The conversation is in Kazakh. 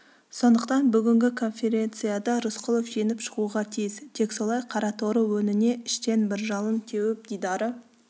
сондықтан бүгінгі конференцияда рысқұлов жеңіп шығуға тиіс тек солай қараторы өңіне іштен бір жалын теуіп дидары